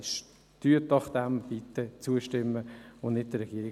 Stimmen Sie dem doch bitte zu und folgen Sie nicht der Regierung.